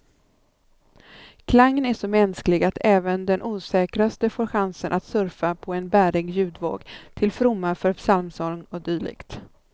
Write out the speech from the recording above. Klangen är så mänsklig att även den osäkraste får chansen att surfa på en bärig ljudvåg, till fromma för psalmsång och dylikt.